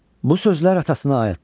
Bu sözlər atasını ayıltdı.